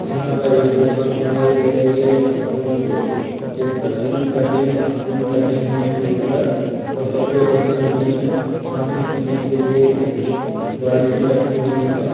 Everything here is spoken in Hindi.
यहाँ पर एक दुकान दिखाई दे रही है एक कपड़ो की जिसपर फूल टंगे-फूल टंगे हुए है| ऊपर और कपड़े टंगे हुए है| पानी पीने के लिए एक बाल्टी रखी हुई है।